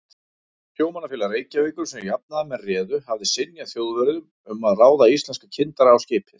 Sjómannafélag Reykjavíkur, sem jafnaðarmenn réðu, hafði synjað Þjóðverjum um að ráða íslenska kyndara á skipið.